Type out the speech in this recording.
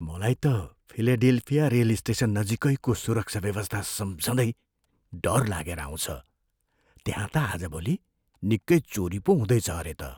मलाई त Philadelphia rail station नजिकैको सुरक्षा व्यवस्था सम्झँदै डर लागेर आउँछ, त्यहाँ त आजभोलि निकै चोरी पो हुँदैछ अरे त।